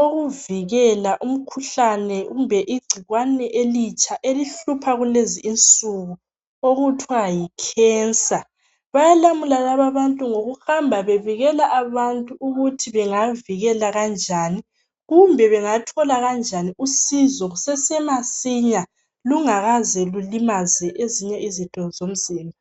okuvikela umkhuhlane kumbe igcikwane elitsha elihlupha kulezi insuku okuthwa yicancer. Bayalamula lababantu ngokuhamba bebikela abantu ukuthi bengavikela kanjani kumbe bengathola kanjani usizo kusese masinya lungakaze lulimaze ezinye izitho zomzimba.